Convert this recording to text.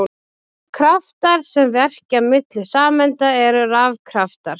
Kraftar sem verka milli sameinda eru rafkraftar.